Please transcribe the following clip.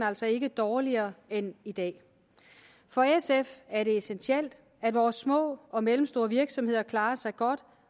altså ikke dårligere end i dag for sf er det essentielt at vores små og mellemstore virksomheder klarer sig godt